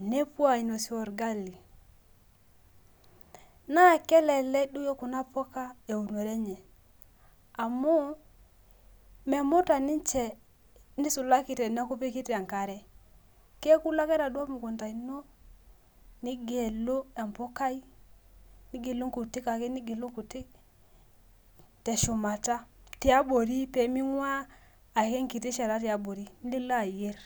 nepuo ainosie olgali na kelek kunapuka eumoto enye amu memuta ninchebnisulita teneaku ipikita enkare keaku ilobake enaduo mukunda ino nigelu empukai nigelu nkutik ake teshumata pemingua enkiti shata tiabori nilo ayier.